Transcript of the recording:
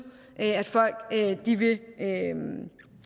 at at folk vil